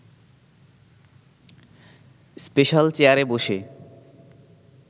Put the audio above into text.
special চেয়ারে বসে